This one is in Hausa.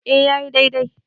e ya yi dai-dai